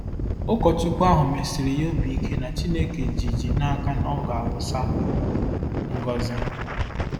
Ụkọchukwu ahụ mesiri ya obi ike na Chineke ji ji n'aka na ọ ga-awụsa ngọzi.